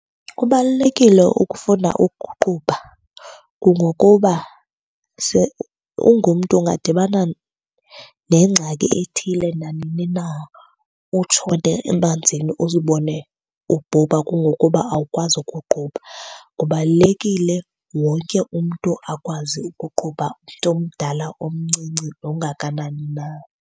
Kubalulekile ukufunda ukuqubha kungokuba ungumntu ungadibana nengxaki ethile nanini na, utshone emanzini uzibone ubhubha kungokuba awukwazi ukuqubha. Kubalulekile wonke umntu akwazi ukuqubha, umntu omdala, omncinci nongakanani na.